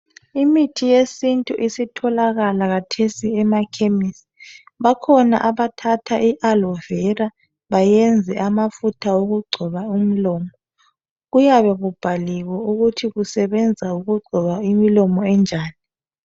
Imithi yesintu isitholakala khathesi emakhemesi bakhona abathatha I alovera benze amafutha okugcoba umlomo kuyabe kubhaliwe ukuthi ukusebenza ukugcoba imilomo enjani.